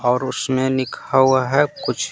और उसमें लिखा हुआ है कुछ --